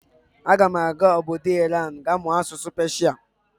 Aga m aga obodo Iran ga mụọ asụsụ Peshia.